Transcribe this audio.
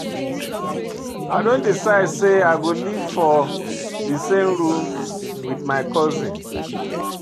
I don decide sey I go live for dis same room wit my cousin.